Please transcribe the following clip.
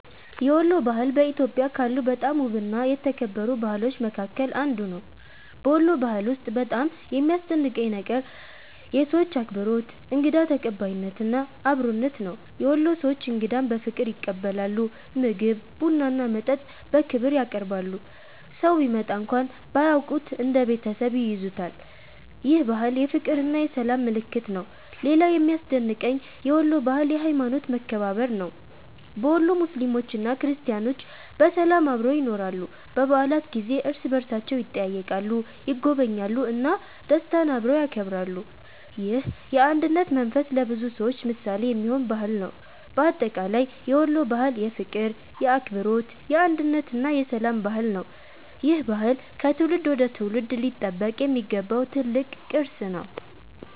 የወሎ ባህል በኢትዮጵያ ካሉ በጣም ውብና የተከበሩ ባህሎች መካከል አንዱ ነው። በወሎ ባህል ውስጥ በጣም የሚያስደንቀኝ ነገር የሰዎቹ አክብሮት፣ እንግዳ ተቀባይነት እና አብሮነት ነው። የወሎ ሰዎች እንግዳን በፍቅር ይቀበላሉ፤ ምግብ፣ ቡና እና መጠጥ በክብር ያቀርባሉ። ሰው ቢመጣ እንኳን ባያውቁት እንደ ቤተሰብ ይይዙታል። ይህ ባህል የፍቅርና የሰላም ምልክት ነው። ሌላው የሚያስደንቀኝ የወሎ ባህል የሀይማኖት መከባበር ነው። በወሎ ሙስሊሞችና ክርስቲያኖች በሰላም አብረው ይኖራሉ። በበዓላት ጊዜ እርስ በእርሳቸው ይጠያየቃሉ፣ ይጎበኛሉ እና ደስታን አብረው ያከብራሉ። ይህ የአንድነት መንፈስ ለብዙ ሰዎች ምሳሌ የሚሆን ባህል ነው። በአጠቃላይ የወሎ ባህል የፍቅር፣ የአክብሮት፣ የአንድነት እና የሰላም ባህል ነው። ይህ ባህል ከትውልድ ወደ ትውልድ ሊጠበቅ የሚገባው ትልቅ ቅርስ ነው።